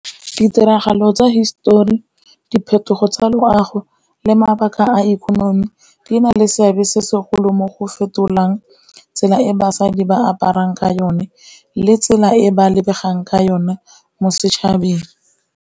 Ditiragalo tsa hisetori, diphetogo tsa loago le mabaka a ikonomi di na le seabe se segolo mo go fetolang tsela e basadi ba aparang ka yone, le tsela e ba lebegang ka yone mo setšhabeng.